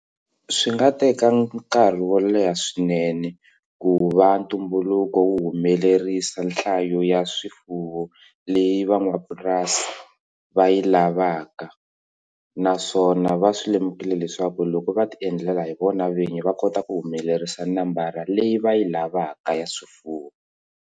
Swi nga teka nkarhi wo leha swinene ku va ntumbuluko wu humelerisa nhlayo ya swifuwo leyi va n'wapurasi va yi lavaka naswona va swi lemukile leswaku loko va ti endlela hi vona vinyi va kota ku humelerisa nambara leyi va yi lavaka ya swifuwo.